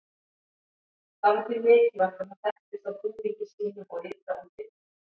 það var því mikilvægt að það þekktist á búningi sínum og ytra útliti